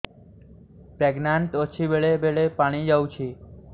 pregnant ଅଛି ବେଳେ ବେଳେ ପାଣି ଯାଉଛି